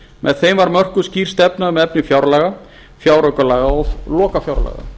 með þeim var mörkuð skýr stefna um efni fjárlaga fjáraukalaga og lokafjárlaga